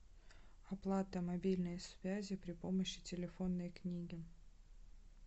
оплата мобильной связи при помощи телефонной книги